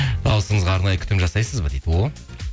дауысыңызға арнайы күтім жасайсыз ба дейді о